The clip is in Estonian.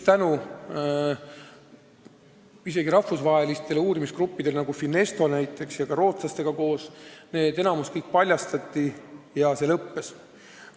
Tänu isegi rahvusvahelistele uurimisgruppidele, Finestole näiteks, ja ka rootslastele enamik sellest tegevusest paljastati ja see lõppes.